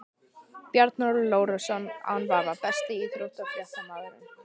Bjarnólfur Lárusson án vafa Besti íþróttafréttamaðurinn?